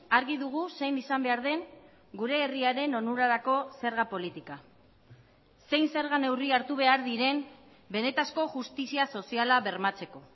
argi dugu zein izan behar den gure herriaren onurarako zerga politika zein zerga neurri hartu behar diren benetako justizia soziala bermatzeko